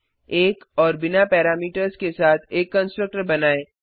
1 और बिना पैरामीटर्स के साथ एक कंस्ट्रक्टर बनाएँ